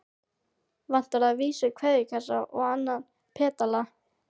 Vantar að vísu keðjukassann og annan pedalann.